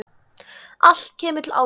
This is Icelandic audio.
Allt kemur til álita.